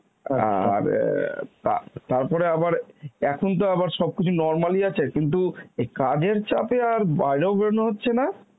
অ্যাঁ আর অ্যাঁ তা~ তারপরে আবার এখন তো আবার সবকিছু normal ই আছে কিন্তু এই কাজের চাপে আর বাইরেও বেরোনো হচ্ছে না